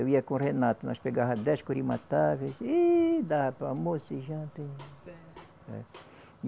Eu ia com o Renato, nós pegava dez curimatá e dava para o almoço e janta e